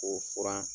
K'o furan